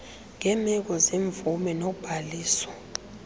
ngeemeko zemvume nobhaliso